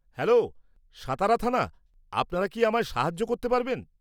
Hello, Satara থানা, আপনারা কি আমায় সাহায্য করতে পারবেন?